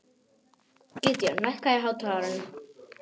Gídeon, lækkaðu í hátalaranum.